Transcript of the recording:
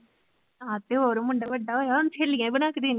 ਆਹੋ ਤੇ ਹੋਰ ਮੁੰਡਾ ਵੱਡਾ ਹੋਇਆ ਸਹੇਲੀਆਂ ਬਣਾ ਕੇ ਦੇਣੀ